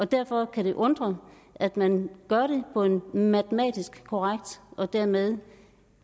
derfor kan det undre at man gør det på en en matematisk korrekt og dermed